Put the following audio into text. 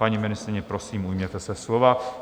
Paní ministryně, prosím, ujměte se slova.